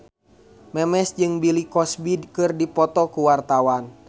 Memes jeung Bill Cosby keur dipoto ku wartawan